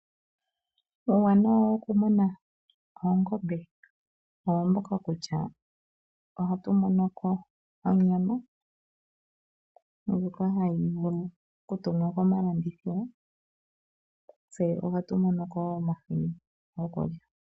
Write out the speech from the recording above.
Uuwanawa woku muna oongombe owo mboka kutya, ohatu mono ko onyama ndjoka hayi vulu okutumwa komalandithilo, tse ohatu mono ko omahini gokulya.